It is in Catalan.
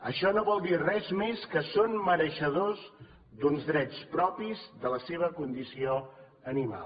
això no vol dir res més que són mereixedors d’uns drets propis de la seva condició animal